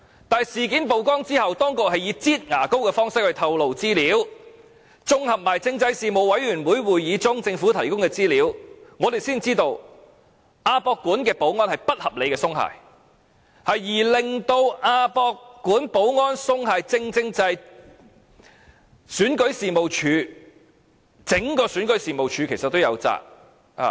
但是，事件曝光後，當局是以"擠牙膏"的方式來透露資料，綜合政府在政制事務委員會會議提供的資料，我們才知道亞博館的保安是不合理地鬆懈，而亞博館保安鬆懈，正是整個選舉事務處均有責。